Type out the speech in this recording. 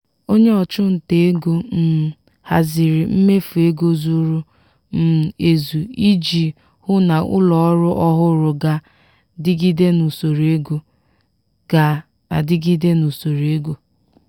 onye ọchụnta ego um haziri mmefu ego zuru um ezu iji hụ na ụlọọrụ ọhụrụ ga-adịgide n’usoro ego. ga-adịgide n’usoro ego.